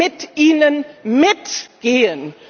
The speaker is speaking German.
mit Ihnen mitgehen.